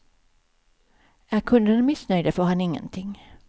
Är kunderna missnöjda får han ingenting.